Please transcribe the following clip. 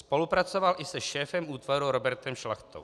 Spolupracoval i se šéfem útvaru Robertem Šlachtou.